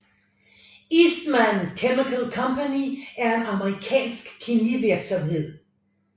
Eastman Chemical Company er en amerikansk kemivirksomhed